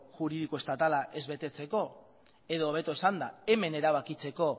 juridiko estatala ez betetzeko edo hobeto esanda hemen erabakitzeko